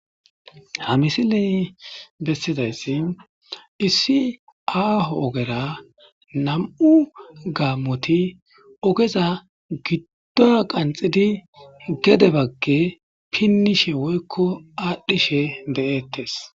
Ha missiley bessidaysi issi aho ogera nam'u gamoti ogeza giduwa qanxidi gede bage pinishe woyko adhishe de'etes.